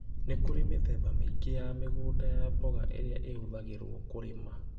Nĩ kũrĩ mĩthemba mĩingĩ ya mĩgũnda ya mboga ĩrĩa ĩhũthagĩrũo kũrĩma.